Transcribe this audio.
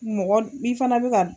Mɔgɔ i fana bɛ ka